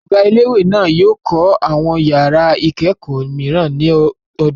Ọ̀gá ilé-ìwé náà yóò kọ́ àwọn ìyàrá-ìkẹ́kọ̀ọ́ mìíràn lọ́dún tó ń bọ̀.